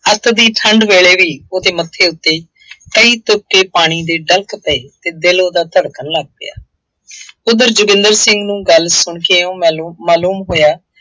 ਅੱਤ ਦੀ ਠੰਢ ਵੇਲੇ ਵੀ ਉਹਦੇ ਮੱਥੇ ਉੱਤੇ ਕਈ ਤੁਪਕੇ ਪਾਣੀ ਦੇ ਡਲਕ ਪਏ ਅਤੇ ਦਿਲ ਉਹਦਾ ਧੜਕਣ ਲੱਗ ਪਿਆ। ਉੱਧਰ ਜੋਗਿੰਦਰ ਸਿੰਘ ਨੂੰ ਗੱਲ ਸੁਣਕੇ ਇਉਂ ਮਾਲੂ ਮਾਲੂਮ ਹੋਇਆ,